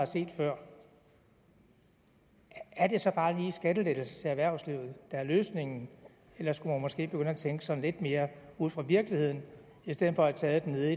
set før er det så bare lige skattelettelser til erhvervslivet der er løsningen eller skulle man måske begynde at tænke sådan lidt mere ud fra virkeligheden i stedet for at tage det nede